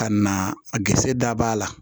Ka na a gesɛ dabɔ a la